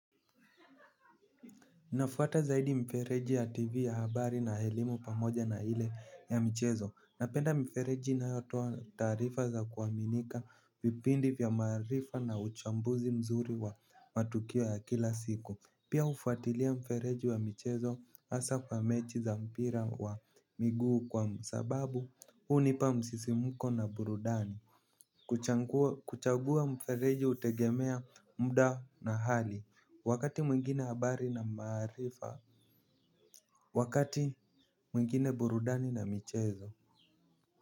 Nafuata zaidi mfereji ya tv ya habari na elimu pamoja na ile ya michezo. Napenda mfereji inayotoa taarifa za kuaminika vipindi vya maarifa na uchambuzi mzuri wa matukio ya kila siku. Pia hufuatilia mfereji wa michezo hasa kwa mechi za mpira wa miguu kwa sababu huu nipa msisimuko na burudani. Kuchagua mfereji hutegemea muda na hali. Wakati mwingine habari na maarifa. Wakati mwingine burudani na michezo.